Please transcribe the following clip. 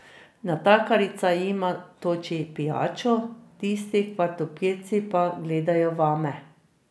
Natakarica jima toči pijačo, tisti kvartopirci pa gledajo vame.